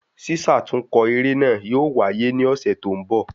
Sísàtúnkọ eré náà yóò waye ni ọ̀sẹ̀ tó ń bọ̀